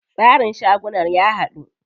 Tsarin shagunan ya haɗu.